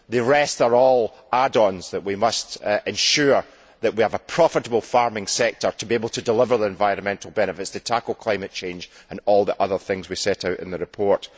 The rest are all add ons to ensure that we have a profitable farming sector to be able to deliver the environmental benefits, to tackle climate change and all the other things we set out in the report.